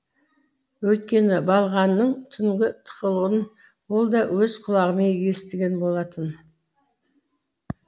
өйткені балғаның түнгі тықылын ол да өз құлағымен естіген болатын